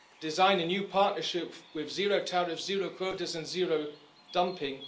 design a new partnership with zero tariffs, zero quotas and zero dumping.